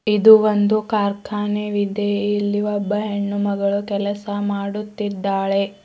ಇದು ಒಂದು ಕಾರ್ಖಾನೆವಿದೆ ಇಲ್ಲಿ ಒಬ್ಬ ಹೆಣ್ಣುಮಗಳು ಕೆಲಸ ಮಾಡುತ್ತಿದ್ದಾಳೆ.